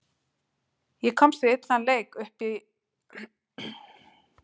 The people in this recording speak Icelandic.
Ég komst við illan leik upp og í rúmið og sá nú ofsjónir.